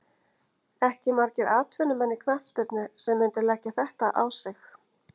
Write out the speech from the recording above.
Ekki margir atvinnumenn í knattspyrnu sem myndu leggja þetta á sig.